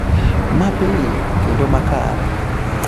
mapiyo kendo makare